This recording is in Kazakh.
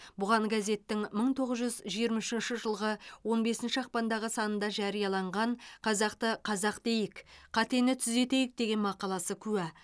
бұған газеттің мың тоғыз жүз жиырма үшінші жылғы он бесінші ақпандағы санында жарияланған қазақты қазақ дейік қатені түзетейік деген мақаласы куә